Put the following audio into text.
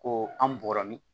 Ko an bɔri